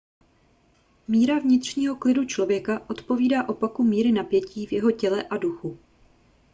míra vnitřního klidu člověka odpovídá opaku míry napětí v jeho těle a duchu